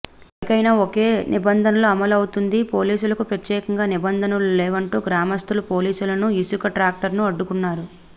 ఎవరికైనా ఓకే నిబంధన అమలు అవుతుంది పోలీసులకి ప్రత్యేకంగా నిబంధనలు లేవంటూ గ్రామస్తులు పోలీసులను ఇసుక ట్రాక్టర్ ను అడ్డుకున్నారు